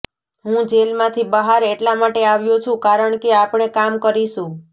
હું જેલમાંથી બહાર એટલા માટે આવ્યો છુ કારણકે આપણે કામ કરીશુ